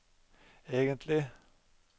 egentlig